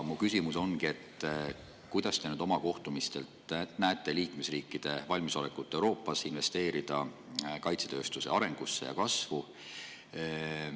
Kas te nüüd oma kohtumistel näete liikmesriikide valmisolekut Euroopas investeerida kaitsetööstuse arengusse ja kasvu?